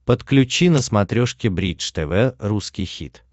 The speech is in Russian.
подключи на смотрешке бридж тв русский хит